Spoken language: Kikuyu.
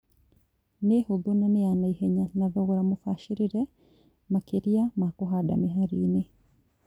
Nĩ hũthũ na nĩya naihenya na thogora mũbacĩrĩre makĩria ma kũhanda mĩhari-inĩ